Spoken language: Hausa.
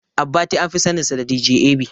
Abbati anfi saninsa da "DJ A.B".